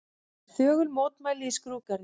Þögul mótmæli í skrúðgarðinum